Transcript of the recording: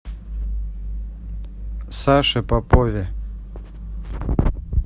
саше попове